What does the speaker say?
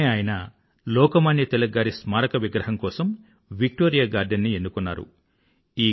వెంఠనే ఆయన లోకమాన్య తిలక్ గారి స్మారక విగ్రహం కోసం విక్టోరియా గార్డెన్ ని ఎన్నుకున్నారు